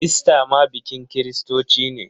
Ista ma bikin kiristoci ne.